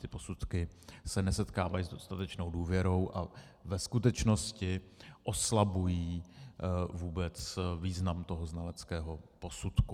Ty posudky se nesetkávají s dostatečnou důvěrou a ve skutečnosti oslabují vůbec význam toho znaleckého posudku.